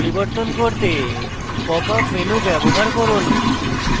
wire frame এ model display পরিবর্তন করতে popup menu ব্যবহার করুন